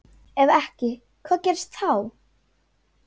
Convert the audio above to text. Ef ekki hvað gerist þá?